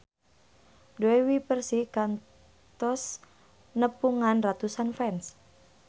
Dewi Persik kantos nepungan ratusan fans